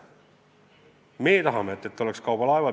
Me tahame, et meil oleks kaubalaevad.